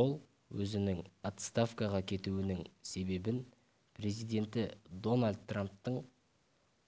ол өзінің отставкаға кетуінің себебін президенті дональд трамптың